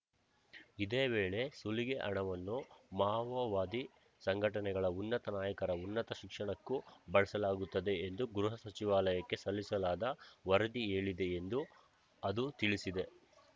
ಇದೇ ವೇಳೆ ಸುಲಿಗೆ ಹಣವನ್ನು ಮಾವೋವಾದಿ ಸಂಘಟನೆಗಳ ಉನ್ನತ ನಾಯಕರ ಉನ್ನತ ಶಿಕ್ಷಣಕ್ಕೂ ಬಳಸಲಾಗುತ್ತದೆ ಎಂದು ಗೃಹ ಸಚಿವಾಲಯಕ್ಕೆ ಸಲ್ಲಿಸಲಾದ ವರದಿ ಹೇಳಿದೆ ಎಂದು ಅದು ತಿಳಿಸಿದೆ